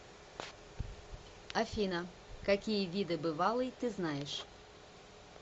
афина какие виды бывалый ты знаешь